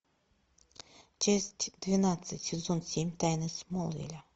часть двенадцать сезон семь тайны смолвиля